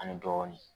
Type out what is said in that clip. Ani dɔɔnin